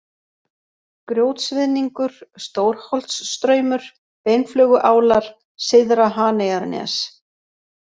Grjótsviðningur, Stórholtsstraumur, Beinflöguálar, Syðra-Haneyjarnes